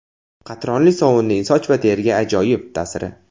Qatronli sovunning soch va teriga ajoyib ta’siri.